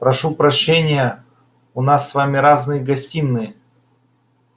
прошу прощения у нас с вами разные гостиные